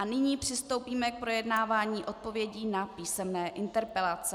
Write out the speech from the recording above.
A nyní přistoupíme k projednávání odpovědí na písemné interpelace.